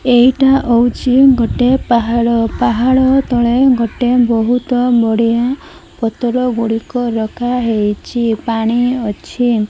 ଏଇଟା ଅଉଚି ଗୋଟେ ପାହାଳ ପାହାଳ ତଳେ ଗୋଟେ ବହୁତ ନଡିଆ ପତର ଗୁଡିକ ରଖାହେଇଚି ପାଣି ଅଛି।